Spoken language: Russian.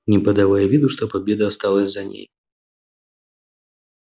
не подавая виду что победа осталась за ней